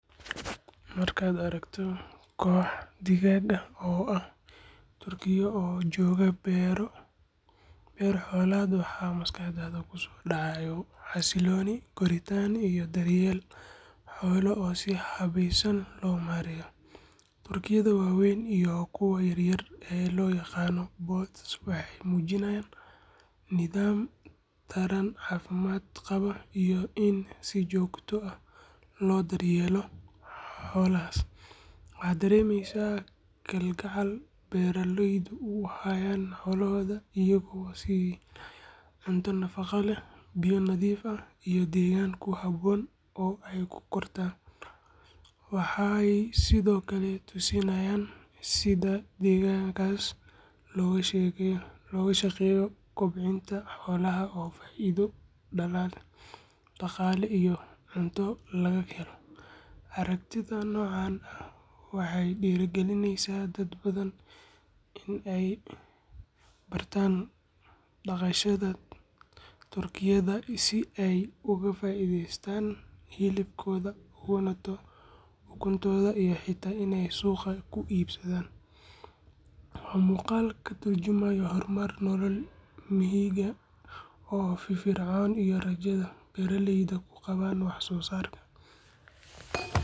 Marka aragto kox digag ah oo turkiyo oo jogo beero, beer xolaad waxaa maskaadadha kusodacayo xasiloni koritan iyo daryeel xolo oo si hawesan lo mareya waxee mujinayin nidham balaran iyo cafimaad si jogto ah lo daryeelo xolahas waxaa daremeysaa kal gacal beera leydu uhayan beerahoda, waxee tusi nayin sitha loga shaqeyo degankasi, si ee oga fairest ukutoda, beera leyda ku qawan wax sosarka.